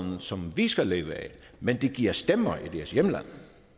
som vi skal leve af men det giver stemmer i deres hjemlande